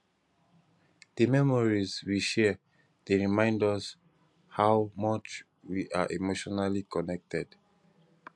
di memories we share dey remind us how much we are emotionally connected